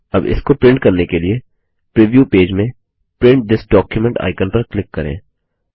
अब इसको प्रिंट करने के लिए प्रिव्यू पेज में प्रिंट थिस डॉक्यूमेंट आइकन पर क्लिक करें